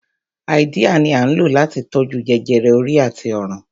Háídíà ni à ń lò láti tó jú jẹjẹrẹ orí àti ọrùn